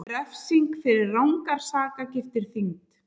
Refsing fyrir rangar sakargiftir þyngd